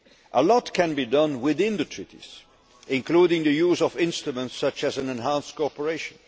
A lot can be done within the treaties, including the use of instruments such as enhanced cooperation.